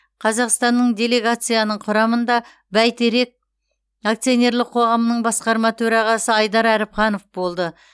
қазақстандық делегацияның құрамында бәйтерек акционерлік қоғамның басқарма төрағасы айдар әріпханов болды